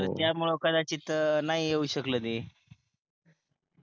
तर त्यामुळं कदाचित नाही येऊ शकलं ते